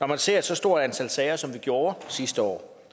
når man ser et så stort antal sager som vi gjorde sidste år